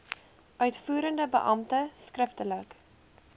uitvoerende beampte skriftelik